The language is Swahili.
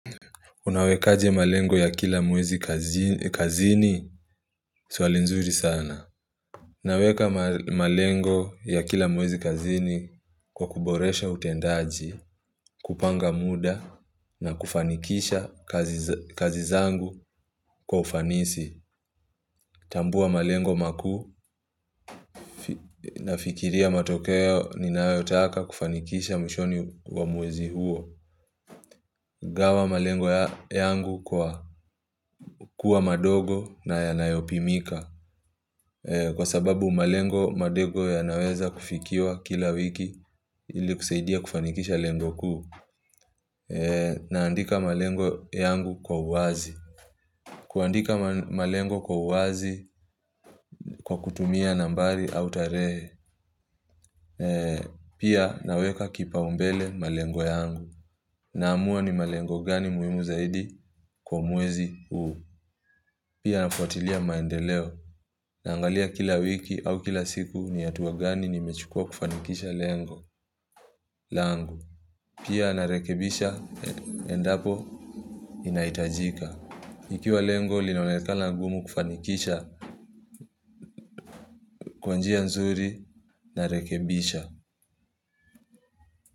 Unawekaje malengo ya kila mwezi kazini swali nzuri sana. Unaweka malengo ya kila mwezi kazini kwa kuboresha utendaji, kupanga muda na kufanikisha kazi zangu kwa ufanisi. Tambua malengo maku na fikiria matokeo ninayotaka kufanikisha mwishoni wa mwezi huo. Gawa malengo yangu kwa kuwa madogo na yanayopimika. Kwa sababu malengo madego ya naweza kufikiwa kila wiki ili kusaidia kufanikisha lengo kuu. Naandika malengo yangu kwa uazi. Kuandika malengo kwa uazi kwa kutumia nambari au tarehe. Pia naweka kipa umbele malengo yangu. Naamua ni malengo gani muhimu zaidi kwa mwezi uu. Pia nafuatilia maendeleo. Naangalia kila wiki au kila siku ni hatua gani ni mechukua kufanikisha lengo. Langu. Pia narekebisha endapo inahitajika. Ikiwa lengo linaonekana ngumu kufanikisha kwanjia nzuri narekebisha.